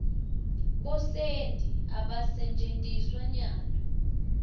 bosenti abasentjetiswa nyalo